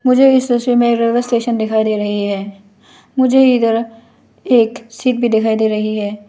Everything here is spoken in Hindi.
मुझे इस तस्वीर में रेलवे स्टेशन दिखाई दे रही है मुझे इधर एक सीट भी दिखाई दे रही है।